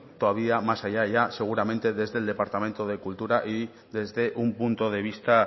todavía más allá ya seguramente desde el departamento de cultura y desde un punto de vista